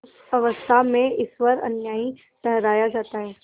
उस अवस्था में ईश्वर अन्यायी ठहराया जाता है